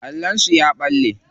Allon sun ya balle.